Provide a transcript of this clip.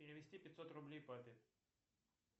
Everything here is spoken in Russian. перевести пятьсот рублей папе